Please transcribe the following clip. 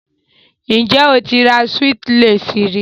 Have you ever bought a Swiss Lace?